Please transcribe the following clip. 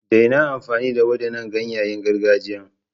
Daina amfani da waɗannan ganyayen gargajiyan!